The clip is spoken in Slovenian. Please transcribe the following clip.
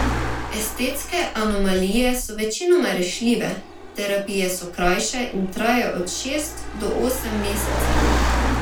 Estetske anomalije so večinoma rešljive, terapije so krajše in trajajo od šest do osem mesecev.